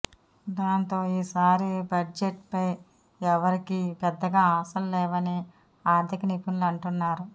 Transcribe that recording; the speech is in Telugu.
దాంతో ఈసారి బడ్జెట్పై ఎవరికీ పెద్దగా ఆశలు లేవని ఆర్థిక నిపుణులు అంటున్నారు